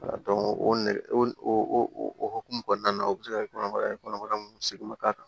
o nɛgɛ o hukumu kɔnɔna na o be se ka kɛ kɔnɔbara ye kɔnɔbara mun segu k'a kan